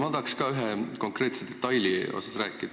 Ma tahan ka ühest konkreetsest detailist rääkida.